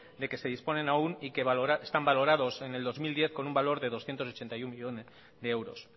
de que se disponen aún y que están valorados en el dos mil diez con un valor de doscientos ochenta y uno millónes de euros